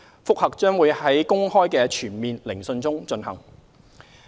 覆核將會在公開的全面聆訊中進行。